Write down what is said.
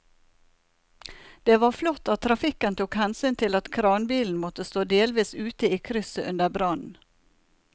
Det var flott at trafikken tok hensyn til at kranbilen måtte stå delvis ute i krysset under brannen.